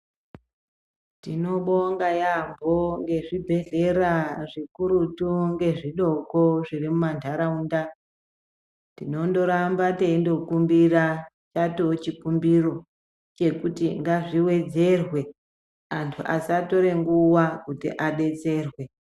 Tinobonga yambo ngezvibhehleyra zvikuruti ngezvidoko zviri mumandaraunda tinondoramba teindokumbira chatowa chikumbiro chekuti ngazviwedzerwe antu asatore nguwa kuti abetserwe.